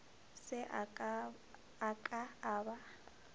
se a ka a ba